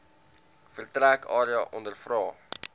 vertrek area ondervra